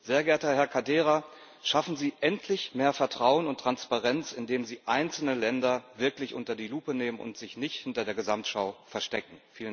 Sehr geehrter Herr Caldeira, schaffen Sie endlich mehr Vertrauen und Transparenz, indem Sie einzelne Länder wirklich unter die Lupe nehmen und sich nicht hinter der Gesamtschau verstecken!